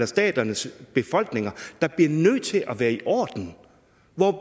staternes befolkninger der bliver nødt til at være i orden